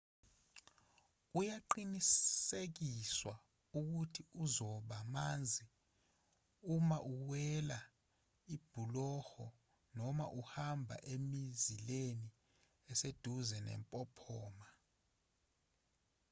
uyaqinisekiswa ukuthi uzoba manzi uma uwela ibhuloho noma uhamba emizileni eseduze nempophoma